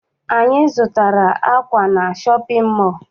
Anyị zụtara akwa na shọpịn mọọ.